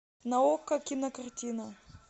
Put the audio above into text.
на окко кинокартина